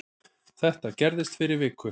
Þetta gerðist fyrir viku